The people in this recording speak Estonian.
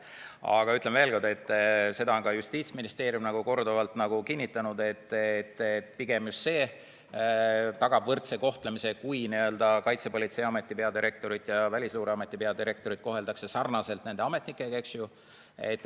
Aga ütlen veel kord, et seda on ka Justiitsministeerium korduvalt kinnitanud, et pigem just see tagab võrdse kohtlemise, kui Kaitsepolitseiameti peadirektorit ja Välisluureameti peadirektorit koheldakse sarnaselt nende ametnikega.